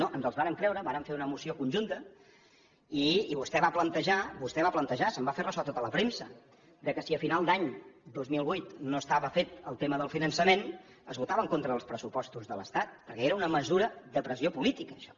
no els vàrem creure vàrem fer una moció conjunta i vostè va plantejar vostè ho va plantejar se’n va fer ressò tota la premsa que si a final d’any dos mil vuit no estava fet el tema del finançament es votava en contra dels pressupostos de l’estat perquè era una mesura de pressió política això